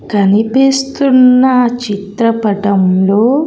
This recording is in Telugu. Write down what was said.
కనిపిస్తున్న చిత్రపటంలో.